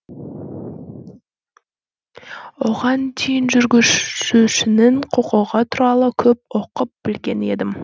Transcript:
оған дейін жүргізушінің құқығы туралы көп оқып білген едім